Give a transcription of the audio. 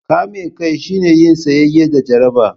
Kame kai shine yin tsayayya da jaraba.